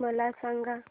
मला सांगा